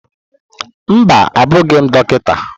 Mba, abụghị m Dọkịta.